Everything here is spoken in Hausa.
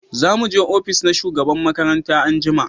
za mu je ofis na shugaban makaranta anjima